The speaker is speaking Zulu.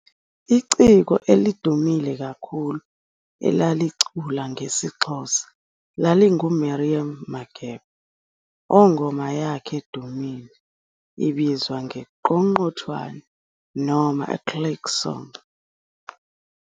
Iciko elidumile kakhulu elalicula ngesiXhosa lalinguMiriam Makeba ongoma yakhe edumile ibizwa nge-"Qongqothwane" noma i-"Click song".